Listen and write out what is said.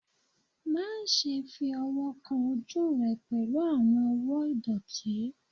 Maṣe fi ọwọ kan oju rẹ pẹlu awọn ọwọ idọti! Maṣe fi ọwọ kan oju rẹ pẹlu awọn ọwọ idọti!